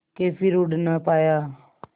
के फिर उड़ ना पाया